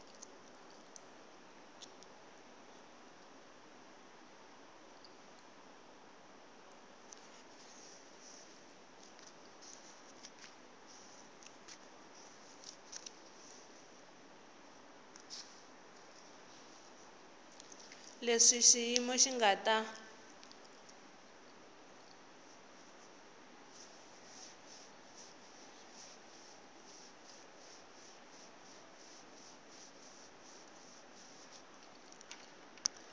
leswi xiyimo xi nga ta